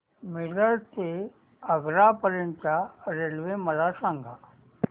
मिरज ते आग्रा पर्यंत च्या रेल्वे मला सांगा